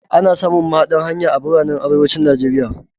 Ana samun mahaɗan hanya a biranen arewacin Nigeria.